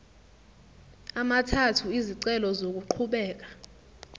amathathu izicelo zokuqhubeka